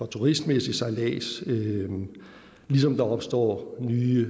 turistmæssig sejlads ligesom der opstår nye